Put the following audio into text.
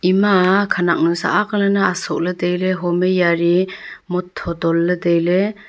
ema khanak nusa ak lan ne asoh le taile home jari mottho tonle taile.